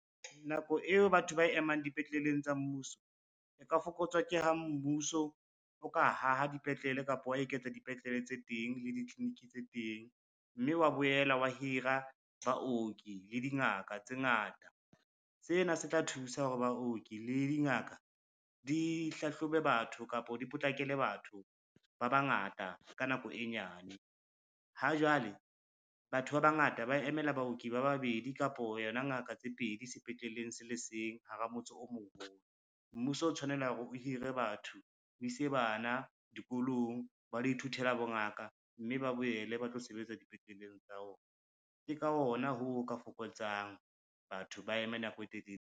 Nako eo batho ba emang dipetleleng tsa mmuso, e ka fokotswa ke ha mmuso o ka haha dipetlele kapa wa eketsa dipetlele tse teng le ditliliniki tse teng, mme wa boela wa hira baoki le dingaka tse ngata. Sena se tla thusa hore baoki le dingaka di hlahlobe batho kapo di potlakele batho ba bangata ka nako e nyane. Ha jwale batho ba bangata ba emela baoki ba babedi kapo yona ngaka tse pedi sepetleleng se le seng hara motse o moholo. Mmuso o tshwanela hore o hire batho, o ise bana dikolong ba lo ithuthela bongaka, mme ba boele ba tlo sebetsa dipetleleng tsa ona. Ke ka hona ho ka fokotsang batho ba eme nako e telele.